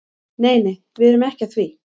Nei nei, við erum ekki að því.